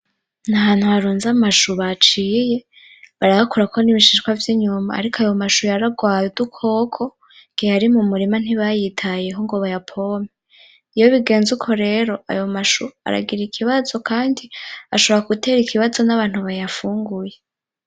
Ahantu haruze amashu baciye barayakurako ibishishwa vy'inyuma ariko ayo mashu yararwaye udukoko igihe yari mumurima ntibayitayeho ngo bayapompe iyo bigeze uko rero ayo mashu aragira ikibazo kandi ashobora gutera ikibazo nabantu bayafunguye.